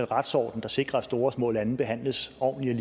retsorden der sikrer at store og små lande behandles ordentligt